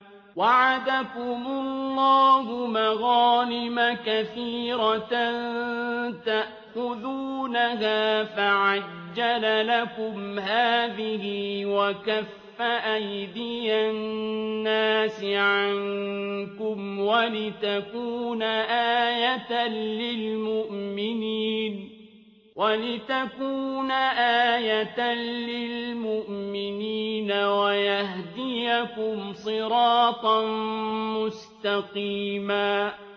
وَعَدَكُمُ اللَّهُ مَغَانِمَ كَثِيرَةً تَأْخُذُونَهَا فَعَجَّلَ لَكُمْ هَٰذِهِ وَكَفَّ أَيْدِيَ النَّاسِ عَنكُمْ وَلِتَكُونَ آيَةً لِّلْمُؤْمِنِينَ وَيَهْدِيَكُمْ صِرَاطًا مُّسْتَقِيمًا